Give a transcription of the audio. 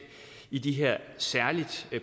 i de her særlig